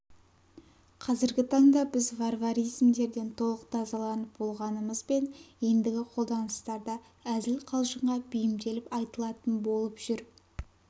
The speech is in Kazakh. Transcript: қазіргі таңда біз варваризмдерден толық тазаланып болмағанымызбен ендігі қолданыстарда әзіл-қалжыңға бейімделіп айтылатын болып жүр